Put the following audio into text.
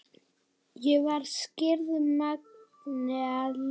Ég var skírð Magnea Elín.